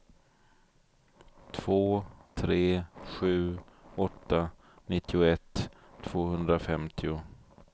två tre sju åtta nittioett tvåhundrafemtio